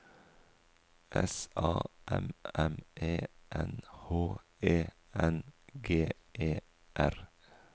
S A M M E N H E N G E R